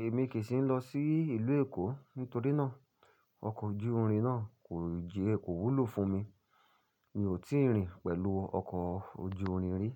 Èmi kì í sì lọ sí ìlú Èkó nítorí náà. Ọkọ̀ ojú-irin náà kò jí e ko wúlò fún mi. Mi ò tíì rìn pẹ̀lú ọkọ̀ ojú-irin rí.